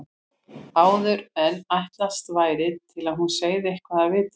Áður en ætlast væri til að hún segði eitthvað af viti.